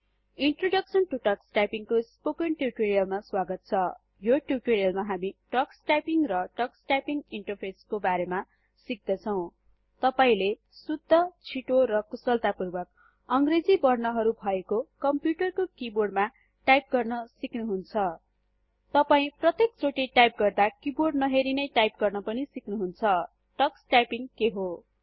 introduction to Tux typing को spoken tutorial मा स्वागत छ यो टिउटोरीअलमा हामी टक्स टाइपिंग र टक्स टाइपिंग इन्टरफेसको बारेमा सिक्दछौँ तपाईले शुद्ध छिटो र कुशलतापूर्वक160 इङ्गलिश वर्णहरु भएको कम्प्युटरको किबोर्डमा टाइप गर्न सिक्नुहुन्छ तपाई प्रत्येक चोटी टाइप गर्दा किबोर्ड नहेरी नै टाइप गर्न पनि सिक्नुहुन्छ टक्सटाइपिंग के हो